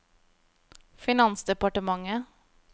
finansdepartementet